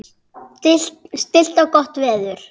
Stillt og gott veður.